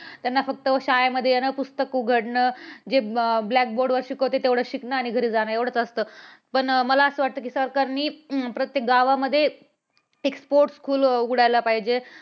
त्यांना फक्त शाळेमध्ये येणं पुस्तक उघडणं जे blackboard वर शिकवतं तेवढ शिकण आणि घरी जाणं एवढंच असतं पण मला असं वाटतं कि सरकारने अह प्रत्येक गावामध्ये एक sports school उघडायला पाहिजे.